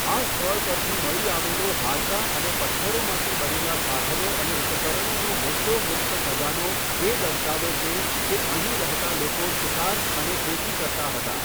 આ સ્થળ પરથી મળી આવેલો હાડકાં અને પથ્થરોમાંથી બનેલા સાધનો અને ઉપકરણોનો મોટો ગુપ્ત ખજાનો એ દર્શાવે છે કે અહીં રહેતા લોકો શિકાર અને ખેતી કરતા હતા.